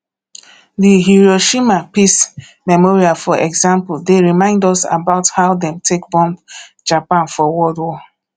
di hiroshima peace memorial for example dey remind us about how dem take bomb japan for world war